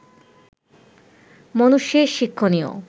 মনুষ্যের শিক্ষণীয়